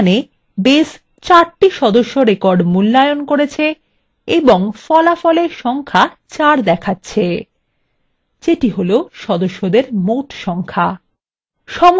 তাহলে এখানে base ৪ the সদস্য records মূল্যায়ন করেছে এবং ফলাফলে সংখ্যা 4 দেখাচ্ছে যেটি হলো সদস্যদের মোট সংখ্যা